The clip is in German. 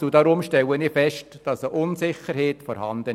Deswegen stelle ich fest, dass eine Unsicherheit besteht.